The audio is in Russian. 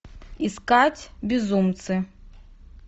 искать безумцы